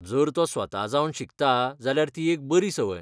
जर तो तें स्वता जावन शिकता जाल्यार ती एक बरी सवंय.